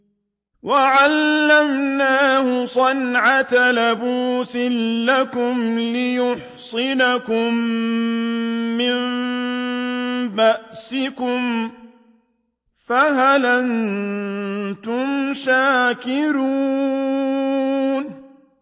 وَعَلَّمْنَاهُ صَنْعَةَ لَبُوسٍ لَّكُمْ لِتُحْصِنَكُم مِّن بَأْسِكُمْ ۖ فَهَلْ أَنتُمْ شَاكِرُونَ